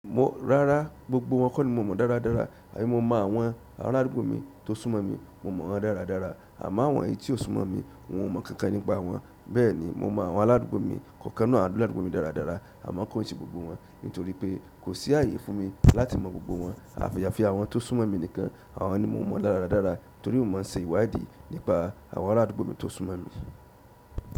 Wo, rárá, gbogbo wọn kò ní mo mọ̀ dáradára, àbí mo mọ àwọn aládùúgbò mi tó súnmọ́ mi, mo mọ̀ wọ́n dáradára, àmọ́ àwọn ẹyi tí ó súnmọ́ mi, òun o mọ̀ kankan nípa wọn. Bẹ́ẹ̀ ni, mo mọ àwọn aládùúgbò mi, kọ̀ọ̀kan inú àwọn aládùúgbò mi dáradára, àmọ́ kò ì se gbogbo wọn, nítorí pé kò sí àyè fún mi láti mọ gbogbo wọn. Àfi yàfi àwọn tó súnmọ́ mi nìkan, àwọn ni mo mọ̀ dáradára, torí mo máa ń se ìwádìí nípa àwọn arádùúgbò mi tó súnmọ́ mi.